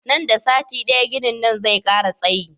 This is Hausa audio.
Nan da sati daya ginin nan zai kara tsayi